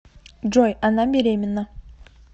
джой она беременна